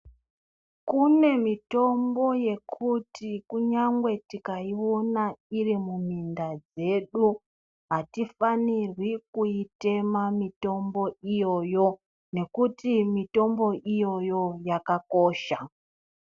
Kune mitombo yekuti kunyangwe tikaiona iri muminda dzedu atifanirwi kuitema mitombo iyoyo nekuti mitombo iyoyo yakakosha.